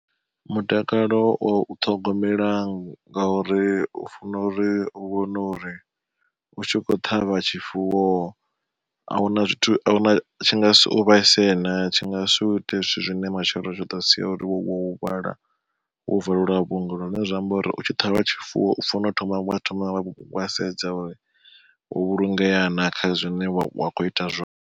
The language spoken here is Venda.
Mutakalo wa u ṱhogomela ngauri u funo uri u vhone uri u tshi kho ṱhavha tshifuwo, ahuna zwithu ahuna tshi nga si u vhaise na tshi nga si uite zwithu zwine matshelo zwi ḓou sia uri wo huvhala wo valelwa vhuongelo. Zwine zwa amba uri u tshi ṱhavha tshifuwo u fanela u thoma wa thoma wa sedza uri wo vhulungeana kha zwine wa kho ita zwone.